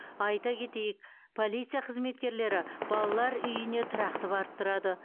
айта кетейік полиция қызметкерлері балалар үйіне тұрақты барып тұрады